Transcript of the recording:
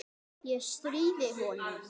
Ég stríði honum.